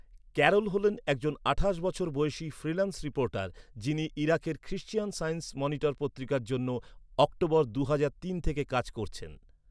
Carroll হলেন একজন আঠাশ বছর বয়সী ফ্রিল্যান্স রিপোর্টার যিনি ইরাকের ক্রিশ্চিয়ান সায়েন্স মনিটর পত্রিকার জন্য অক্টোবর দুহাজার তিন থেকে কাজ করছেন৷